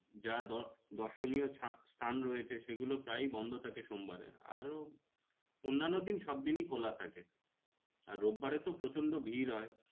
যা দ দর্শনীয় স্থান রয়েছে সেগুলো প্রায়ই বন্ধ থাকে সোমবারে আরো অন্যান্য দিন সব দিনই খোলা থাকে। আর রোব বারে তো প্ৰচন্ড ভিড় হয়।